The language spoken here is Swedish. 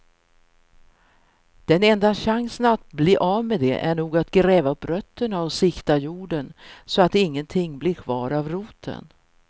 Den enda chansen att bli av med det är nog att gräva upp rötterna och sikta jorden så att ingenting blir kvar av roten.